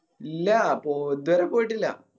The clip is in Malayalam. ഇല്ല പോ ഇതുവരെ പോയിട്ടില്ല